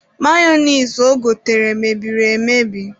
Mayonise o gotere, mebiri emebi.